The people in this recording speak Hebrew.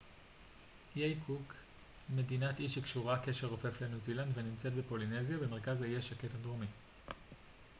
איי קוק הם מדינת אי שקשורה קשר רופף לניו זילנד ונמצאים בפולינזיה במרכז האוקיינוס השקט הדרומי